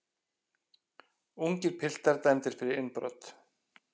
Ungir piltar dæmdir fyrir innbrot